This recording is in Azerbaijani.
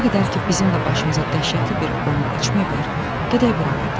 Nə qədər ki bizim də başımıza dəhşətli bir oyun açmayıblar, gedək buralardan.